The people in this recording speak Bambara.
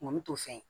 Mɔni t'o fɛ